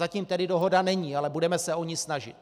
Zatím tedy dohoda není, ale budeme se o ni snažit.